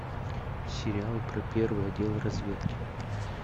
сериал про первый отдел разведки